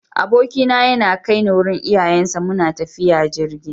Abokina yana kai ni wurin iyayensa, muna tafiya jirgi.